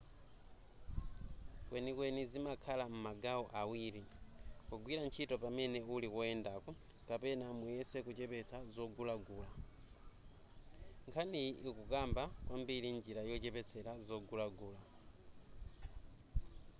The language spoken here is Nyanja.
kwenikweni zimakhala m'magawo awiri kugwira ntchito pamene uli koyendako kapena muyese kuchepesa zogulagula nkhaniyi ikukamba kwambiri njira yochepetsa zogulagula